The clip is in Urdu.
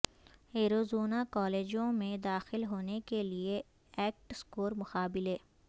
ایریزونا کالجوں میں داخل ہونے کے لئے ایکٹ سکور مقابلے